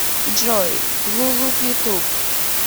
джой лулук ютуб